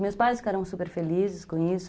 Meus pais ficaram super felizes com isso.